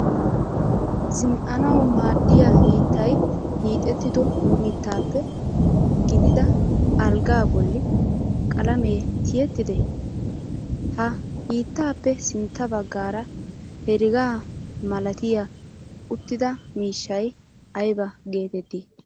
Zin'anawu maaddiya hiittay hiixettido mittaappe giigida alggaa bolli qalamee tiyettiddee? Ha hiittaappe sintta baggaara herega malatiya uttida miishshay ayba geettettii?